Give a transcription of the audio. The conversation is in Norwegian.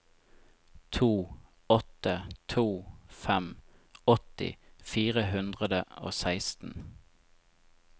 to åtte to fem åtti fire hundre og seksten